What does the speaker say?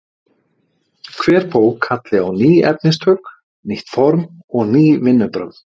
Hver bók kalli á ný efnistök, nýtt form og ný vinnubrögð.